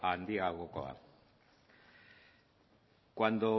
handiagokoa cuando